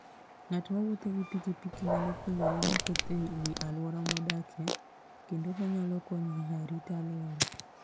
Ng'at mowuotho gi pikipiki nyalo puonjore mathoth e wi alwora modakie, kendo onyalo konyo e rito alwora.